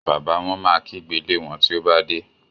Bàbá wón má kígbe lè wón tí o bá dé.